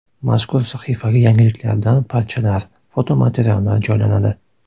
Mazkur sahifaga yangiliklardan parchalar, fotomateriallar joylanadi.